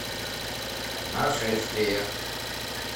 нашествие